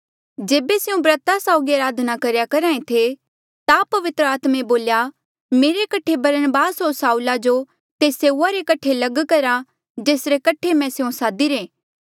जेबे स्यों ब्रता साउगी अराधना करेया करहा ऐें थे ता पवित्र आत्मे बोल्या मेरे कठे बरनबास होर साऊला जो तेस सेऊआ रे कठे लग करा जेसरे कठे मैं स्यों सादिरे